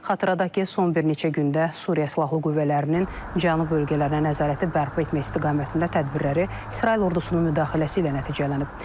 Xatırladaq ki, son bir neçə gündə Suriya silahlı qüvvələrinin Cənub bölgələrinə nəzarəti bərpa etmək istiqamətində tədbirləri İsrail ordusunun müdaxiləsi ilə nəticələnib.